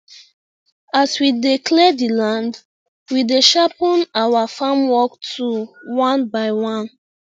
as we dey clear the land we dey sharpen our farm work tool one by one